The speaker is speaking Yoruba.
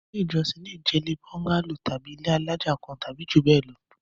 Ilé-ìjọsìn le jẹ́ bóńgálò tàbí ilé alájà kan tàbí jù bẹ́ẹ̀ lọ.